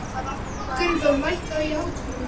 Gunnþór, lækkaðu í hátalaranum.